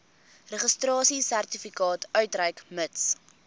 registrasiesertifikaat uitreik mits